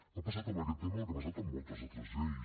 ha passat amb aquest tema el que ha passat amb moltes altres lleis